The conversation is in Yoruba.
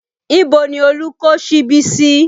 Ibo ni Olú kó síbi sí?